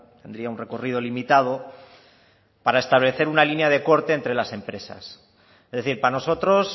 tendría un recorrido limitado para establecer una línea de corte entre las empresas es decir para nosotros